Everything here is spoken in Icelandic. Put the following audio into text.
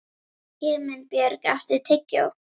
Himinbjörg, áttu tyggjó?